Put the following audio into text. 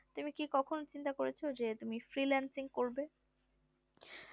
তুমি কি কখনো চিন্তা করেছো যে freelancing করবে